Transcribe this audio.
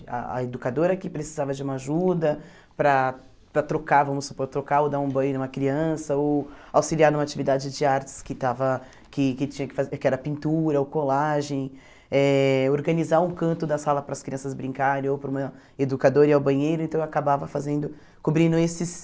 A a educadora que precisava de uma ajuda para para trocar, vamos supor, trocar ou dar um banho em uma criança, ou auxiliar em uma atividade de artes que estava que que tinha que fa que era pintura ou colagem, eh organizar um canto da sala para as crianças brincarem, ou para uma educadora ir ao banheiro, então eu acabava fazendo, cobrindo esses...